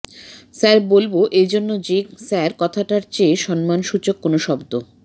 sir বলব এ জন্য যে স্যার কথাটার চেয়ে সম্মানসূচক কোনো শব্দ